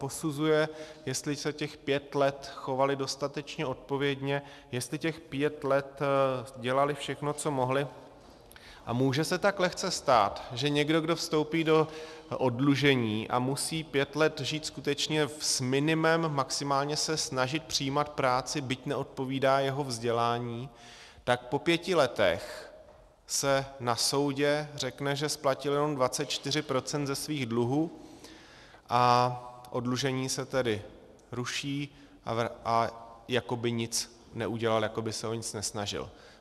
Posuzuje, jestli se těch pět let chovali dostatečně odpovědně, jestli těch pět let dělali všechno, co mohli, a může se tak lehce stát, že někdo, kdo vstoupí do oddlužení a musí pět let žít skutečně s minimem, maximálně se snažit přijímat práci, byť neodpovídá jeho vzdělání, tak po pěti letech se na soudu řekne, že splatil jenom 24 % ze svých dluhů, a oddlužení se tedy ruší a jako by nic neudělal, jako by se o nic nesnažil.